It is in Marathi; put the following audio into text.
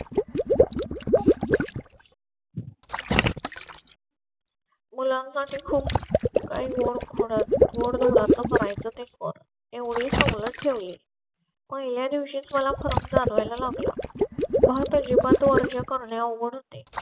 मुलांसाठी खूप काही गॉड धोड करायचं ते कर एवढेच सवलत ठेवले. पहिल्या दिवशी मला फरक जाणवायला लागला. महत्त्वाची पण तो अर्ज करणे अवघड होते